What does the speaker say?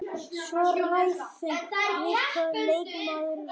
Svo ræðum við hvað leikmaðurinn vill.